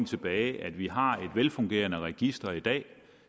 tilbage at vi har et velfungerende register i dag